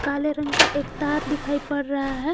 काले रंग का एक तार दिखाई पड़ रहा है।